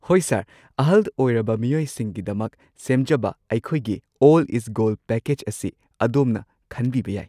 ꯍꯣꯏ ꯁꯔ꯫ ꯑꯍꯜ ꯑꯣꯏꯔꯕ ꯃꯤꯑꯣꯏꯁꯤꯡꯒꯤꯗꯃꯛ ꯁꯦꯝꯖꯕ ꯑꯩꯈꯣꯏꯒꯤ ‘ꯑꯣꯜ ꯢꯁ ꯒꯣꯜꯗ’ ꯄꯦꯀꯦꯖ ꯑꯁꯤ ꯑꯗꯣꯝꯅ ꯈꯟꯕꯤꯕ ꯌꯥꯏ꯫